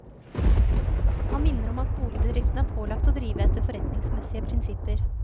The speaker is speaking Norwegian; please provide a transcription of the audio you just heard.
Han minner om at boligbedriften er pålagt å drive etter forretningsmessige prinsipper.